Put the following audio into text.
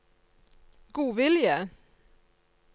godvilje